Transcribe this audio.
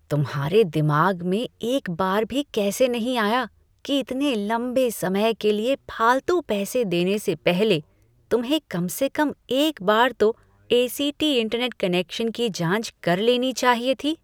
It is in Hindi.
तुम्हारे दिमाग में एक बार भी कैसे नहीं आया कि इतने लंबे समय के लिए फालतू पैसे देने से पहले तुम्हें कम से कम एक बार तो ए.सी.टी. इंटरनेट कनेक्शन की जांच कर लेनी चाहिए थी?